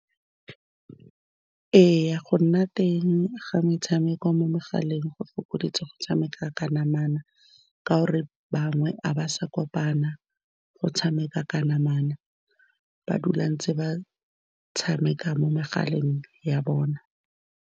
Ee, go nna teng ga metshameko mo megaleng go fokoditse go tshameka ka namana, ka gore bangwe ga ba sa kopana go tshameka ka namana, ba dula ntse ba tshameka mo megaleng ya bona.